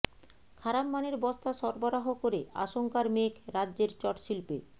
খারাপ মানের বস্তা সরবরাহ করে আশঙ্কার মেঘ রাজ্যের চটশিল্পে